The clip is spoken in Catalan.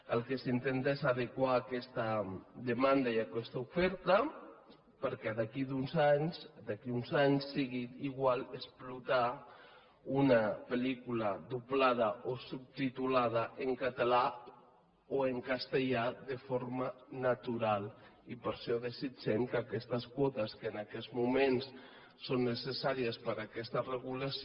el que s’intenta és adequar aquesta demanda i aquesta oferta perquè d’aquí a uns anys sigui igual explotar una pel·lícula doblada o subtitulada en català o en castellà de forma natural i per això desitgem que aquestes quotes que en aquests moments són necessàries per aquesta regulació